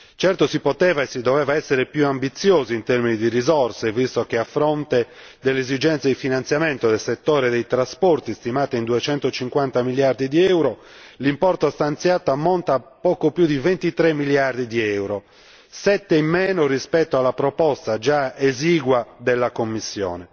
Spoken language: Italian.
Certo, si poteva e si doveva essere più ambiziosi in termini di risorse visto che, a fronte dell'esigenza di finanziamento del settore dei trasporti, stimata in 250 miliardi di euro, l'importo stanziato ammonta a poco più di 23 miliardi di euro, 7 in meno rispetto alla già esigua proposta della Commissione.